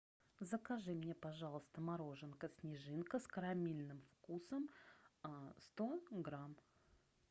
закажи мне пожалуйста мороженка снежинка с карамельным вкусом сто грамм